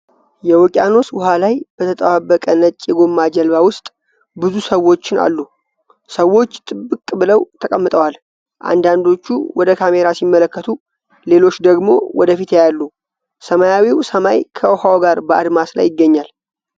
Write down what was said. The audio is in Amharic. የውቅያኖስ ውሃ ላይ በተጣበቀ ነጭ የጎማ ጀልባ ውስጥ ብዙ ሰዎችን አሉ። ሰዎች ጥብቅ ብለው ተቀምጠዋል። አንዳንዶቹ ወደ ካሜራ ሲመለከቱ ሌሎች ደግሞ ወደፊት ያያሉ። ሰማያዊው ሰማይ ከውሃው ጋር በአድማስ ላይ ይገናኛል።